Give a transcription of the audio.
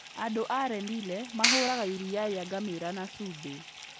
Andũ a Rendille mahũraga iria rĩa ngamĩĩra na cumbĩ.